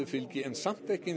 fylgi en samt ekki